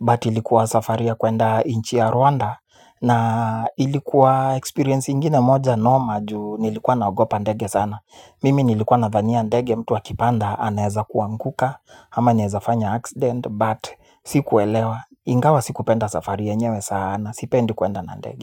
but ilikuwa safari ya kuenda nchi ya Rwanda. Na ilikuwa experience ingine moja noma juu nilikuwa naogopa ndege sana. Mimi nilikuwa nadhania ndege mtu akipanda anaweza kuanguka ama anawezafanya accident, but sikuelewa ingawa sikupenda safari yenyewe sana, sipendi kuenda na ndege.